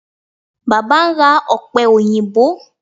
Baba n ra ope oyinbo